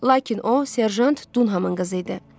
Lakin o, serjant Dunhamın qızı idi.